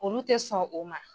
Olu tɛ sɔn o ma.